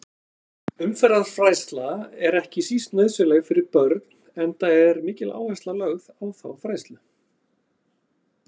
Umferðarfræðsla er ekki síst nauðsynleg fyrir börn enda er mikil áhersla lögð á þá fræðslu.